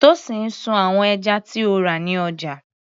Tosin sun àwọn ẹja tí ó rà ní ọjà.